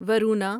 Varuna